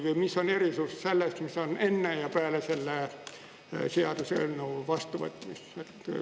Või mis on erisus selles, mis on enne ja peale selle seaduseelnõu vastuvõtmist?